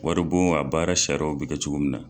Wari bon a baara sariyaw bi kɛ cogo min na.